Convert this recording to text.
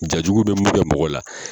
Jajugu bɛ mun kɛ mɔgɔ la